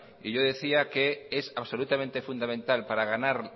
y yo decía que es absolutamente fundamental para ganar